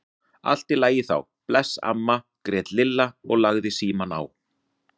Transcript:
Allt í lagi þá, bless amma grét Lilla og lagði símann á.